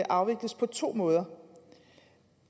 afvikles på to måder